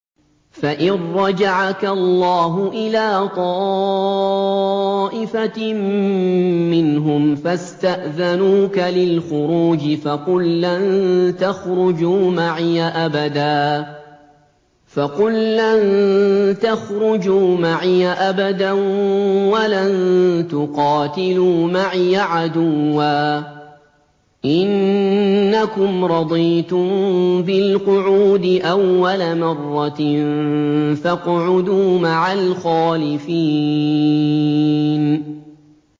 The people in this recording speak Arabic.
فَإِن رَّجَعَكَ اللَّهُ إِلَىٰ طَائِفَةٍ مِّنْهُمْ فَاسْتَأْذَنُوكَ لِلْخُرُوجِ فَقُل لَّن تَخْرُجُوا مَعِيَ أَبَدًا وَلَن تُقَاتِلُوا مَعِيَ عَدُوًّا ۖ إِنَّكُمْ رَضِيتُم بِالْقُعُودِ أَوَّلَ مَرَّةٍ فَاقْعُدُوا مَعَ الْخَالِفِينَ